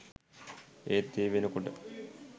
ඒත් ඒ වෙනකොට